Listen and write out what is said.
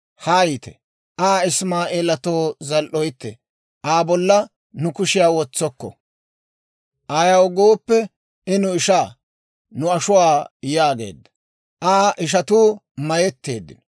Haayite; Aa Isimaa'eelatoo zal"oytte; Aa bolla nu kushiyaa wotsokko; ayaw gooppe, I nu ishaa, nu ashuwaa» yaageedda. Aa ishatuu mayetteeddino.